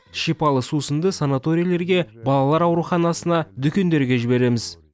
шипалы сусынды санаторийлерге балалар ауруханасына дүкендерге жібереміз